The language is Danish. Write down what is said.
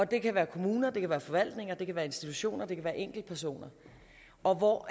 det kan være kommuner det kan være forvaltninger det kan være institutioner og det kan være enkeltpersoner og